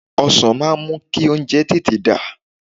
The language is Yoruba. Ọsàn máa ń mú kí oúnjẹ tètè dà